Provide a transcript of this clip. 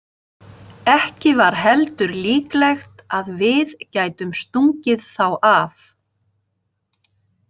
Ekki var heldur líklegt að við gætum stungið þá af.